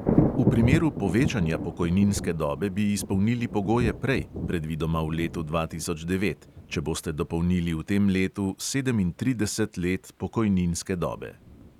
V primeru povečanja pokojninske dobe bi izpolnili pogoje prej, predvidoma v letu dva tisoč devet, če boste dopolnili v tem letu sedemintrideset let pokojninske dobe.